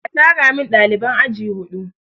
A tara min ɗaliban aji huɗu!